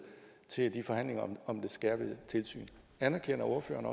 i forhandlingerne om det skærpede tilsyn anerkender ordføreren